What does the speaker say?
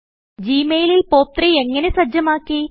G മെയിലിൽ POP3എങ്ങനെ സജ്ജമാക്കി